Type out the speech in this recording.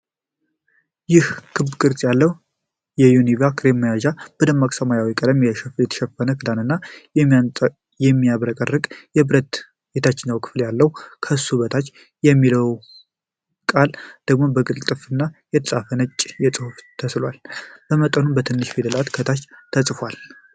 ይህ ክብ ቅርጽ ያለው የኒቪያ ክሬም መያዣ በደማቅ ሰማያዊ ቀለም የተሸፈነ ክዳን እና የሚያብረቀርቅ የብረት የታችኛው ክፍል አለው። በ ከሱ በታች የሚለው ቃል ደግሞ በቅልጥፍና በተጻፈ ነጭ የእጅ ጽሑፍ ተስሏል። መጠኑም በትንሽ ፊደላት ከታች ተጽፏል።